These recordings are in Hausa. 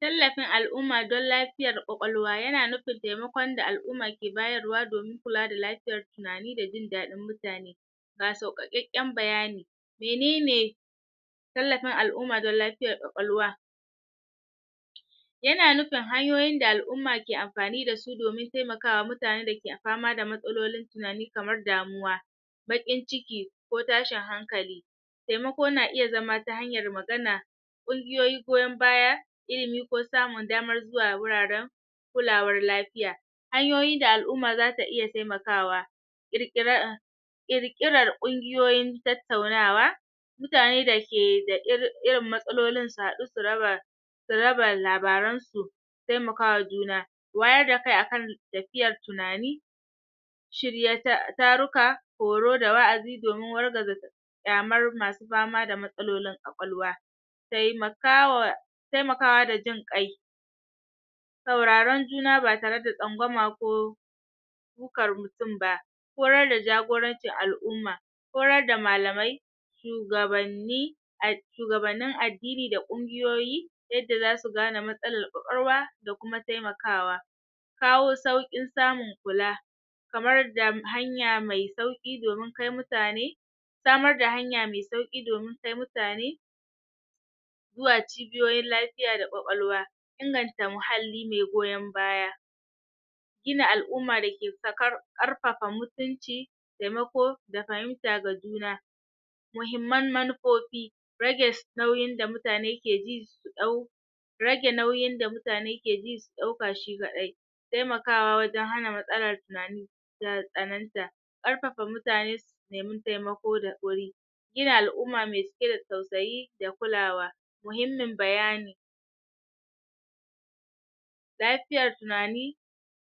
tallafin al'umma don lafiyar ƙwaƙwalwa yana nufin temakon da al'umma ke bayar wa domin kula da lafiyar tunani da jin daɗin mutane ga sauƙaƙeƙƙen bayani menene tallafin al'umma don lafiyar ƙwaƙwalwa yana nufin hanyoyin da al'umma ke amfani da su domin temakawa mutanen da ke fama da matsalolin tunani kamar damuwa baƙin ciki ko tashin hankali temako na iya zama ta hanyar magana ƙungiyoyi goyon baya ilimi ko samun damar zuwa wuraren kulawar lafiya hanyoyi da al'umma zata iya temakawa ƙirƙira ƙirƙirar ƙungiyoyin tattaunawa mutane da ke da irin irin matsalolin su haɗu su raba su raba labaran su temakawa juna wayar da kai akan tafiyar tunani shirya taruka horo da wa'azi domin wargaza ƙyamar masu fama da matsalolin ƙwaƙwalwa temakawa temakawa da jin ƙai sauraron juna ba tare da tsangwama ko sukar mutum ba koyar da jagorancin al'umma koyar da malamai shugabanni shugabannin addini da ƙungiyoyi yadda zasu gane matsalar ƙwaƙwalwa da kuma temakawa kawo sauƙin samun kula kamar da hanya me sauƙi domin kai mutane samar da hanya me sauƙi domin kai mutane zuwa cibiyoyin lafiya da ƙwaƙwalwa inganta muhalli me goyon baya gina al'umma dake sakar ƙarfafa mutunci temako da fahimta ga juna muhimman manufofi rage nauyin da mutane ke ji ɗau rage nauyin da mutane ke ji su ɗauka shi kaɗai temakawa wajen hana matsalar tunani ya tsananta ƙarfafa mutane nemi temaka da wuri gina al'umma me cike da tausayi da kulawa muhimmin bayani lafiyar tunani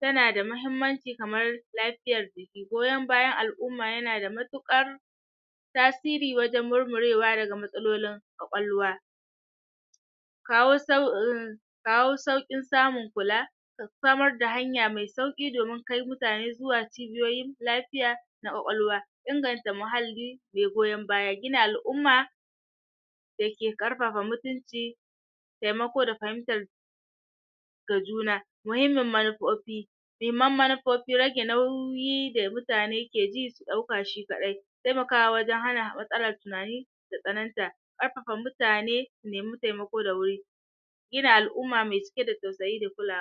tana da muhimmanci kamar lafiyar jiki goyon bayan al'umma yana da matuƙar tasiri wajen murmurewa daga matsalolin ƙwaƙwalwa kawo kawo sauƙin samun kula samar da hanya me sauƙi domin kai mutane zuwa cibiyoyin lafiya na ƙwaƙwalwa inganta muhalli me goyon baya, gina al'umma ake ƙarfafa mutunci temako da fahimtar ga juna muhimin manufofi muhimman manufofi, rage nauyi da mutane ke ji su ɗauka shi kaɗai temakawa wajen hana matsalar tunani ta tsananta ƙarfafa mutane su nemi temako da wuri gina al'umma me cike da tausayi da kulawa